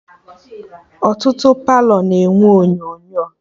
Ọtụtụ Palọ na-enwe onyonyo